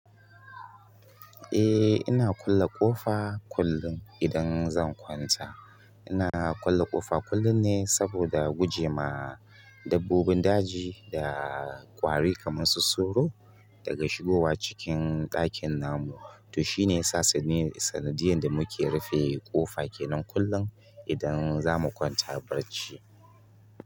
Eh ina kulle ƙofa kullum idan zan kwanta, ina kulle ƙofa kullum ne saboda guje ma dabbobin daji da ƙwari kaman su soro daga shigowa cikin ɗakin namu, to shine yasa saniyar sanadiyan da muke rufe ƙofa kenan kullum idan zamu kwanta barci.